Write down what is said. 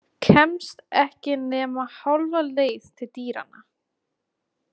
Kemst ekki nema hálfa leið til dyranna.